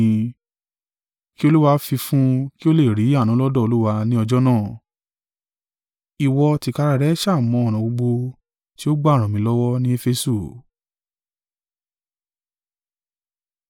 Kí Olúwa fi fún un kí ó lè rí àánú lọ́dọ̀ Olúwa ni ọjọ́ náà! Ìwọ tìkára rẹ sá à mọ̀ ọ̀nà gbogbo tí ó gbà ràn mí lọ́wọ́ ni Efesu.